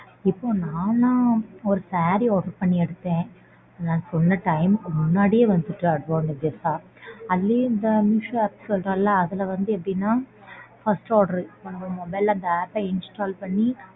இப்போ நான்லாம் ஒரு saree order பண்ணி எடுத்தேன். நான் சொன்ன time க்கு முன்னாடியே வந்துட்டு advantages ஆ அதுலையும் இந்த Meesho app சொல்றோம்ல அதுல வந்து எப்படினா first order நம்ம mobile ல அந்த app அ install பண்ணி.